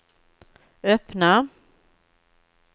öppna